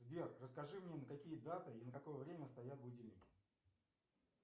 сбер расскажи мне на какие даты и на какое время стоят будильники